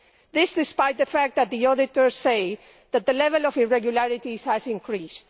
This is in spite of the fact that the auditors say that the level of irregularities has increased.